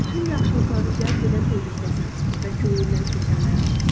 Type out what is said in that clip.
Bütün yaxşılıqları cəzb edən tezlikdəsən və könlündən keçənləri alırsan.